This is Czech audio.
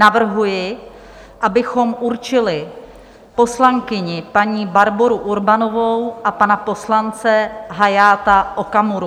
Navrhuji, abychom určili poslankyni paní Barboru Urbanovou a pana poslance Hayata Okamuru.